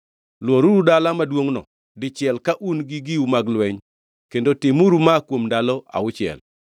Lworuru dala maduongʼno dichiel ka un gi giu mag lweny kendo timuru ma kuom ndalo auchiel.